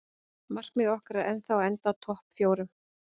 Markmið okkar er ennþá að enda í topp fjórum.